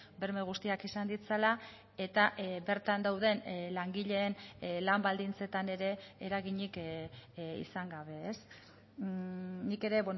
berme guztiak izan ditzala eta bertan dauden langileen lan baldintzetan ere eraginik izan gabe nik ere